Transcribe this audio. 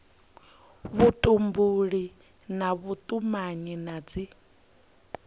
vhutumbuli na vhutumanyi na dzi